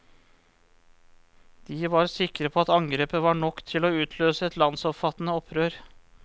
De var sikre på at angrepet var nok til å utløse et landsomfattende opprør.